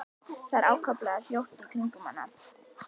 Það er allt ákaflega hljótt í kringum hana.